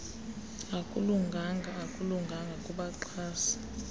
akulunganga akulunganga kubaxhasi